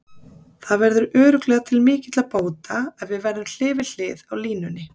Það verður örugglega til mikilla bóta ef við verðum hlið við hlið á línunni.